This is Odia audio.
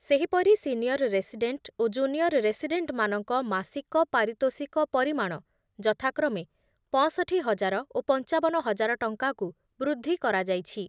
ସେହିପରି ସିନିଅର୍ ରେସିଡ଼େଣ୍ଟ୍ ଓ ଜୁନିଅର୍ ରେସିଡ଼େଣ୍ଟ୍‌ମାନଙ୍କ ମାସିକ ପାରିତୋଷିକ ପରିମାଣ ଯଥାକ୍ରମେ ପଞ୍ଚଷଠି ହଜାର ଓ ପଂଚାବନ ହଜାର ଟଙ୍କାକୁ ବୃଦ୍ଧି କରାଯାଇଛି।